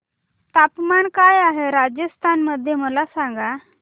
तापमान काय आहे राजस्थान मध्ये मला सांगा